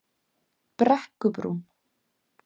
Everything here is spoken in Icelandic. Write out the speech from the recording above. Brekkubrún